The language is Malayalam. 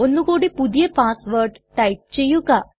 ഒന്നു കൂടി പുതിയ പാസ്സ് വേർഡ് ടൈപ്പ് ചെയ്യുക